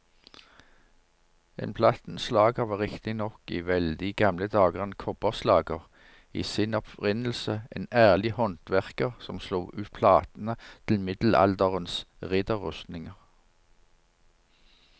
En plattenslager var riktignok i veldig gamle dager en kobberslager, i sin opprinnelse en ærlig håndverker som slo ut platene til middelalderens ridderrustninger.